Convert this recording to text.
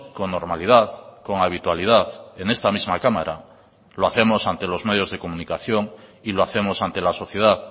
con normalidad con habitualidad en esta misma cámara lo hacemos ante los medios de comunicación y lo hacemos ante la sociedad